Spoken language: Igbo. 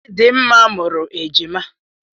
Chidimma mụrụ ejima.